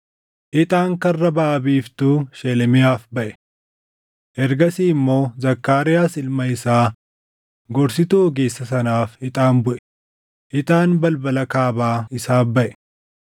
Ixaan Karra Baʼa Biiftuu Shelemiyaaf baʼe. Ergasii immoo Zakkaariyaas ilma isaa gorsituu ogeessa sanaaf ixaan buʼe; ixaan balbala kaabaa isaaf baʼe.